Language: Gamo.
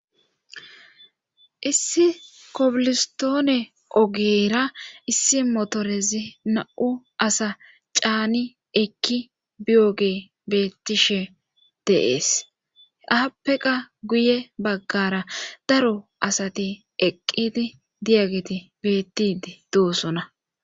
issi kobilistoone ogeera issi motorezi na'u asa caani ekki biyoge beettishe de'ees aappeqa guye baggara daro asati eqqidi diyageti bettii doosona